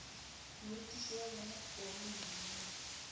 morutiši wa bona kobi mna